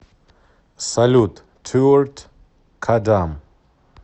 салют торт кадам